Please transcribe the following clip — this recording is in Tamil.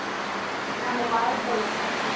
நம்ம bye சொல்ல போறோம்